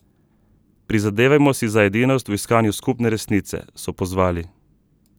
Prizadevajmo si za edinost v iskanju skupne resice, so pozvali.